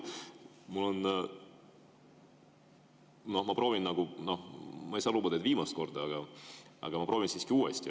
Ma ei saa lubada, et viimast korda, aga ma siiski proovin uuesti.